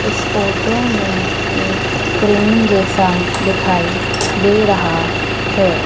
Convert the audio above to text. इस फोटो में एक क्रीम जैसा दिखाई दे रहा है।